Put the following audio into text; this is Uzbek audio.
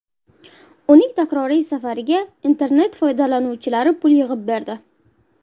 Uning takroriy safariga internet foydalanuvchilari pul yig‘ib berdi.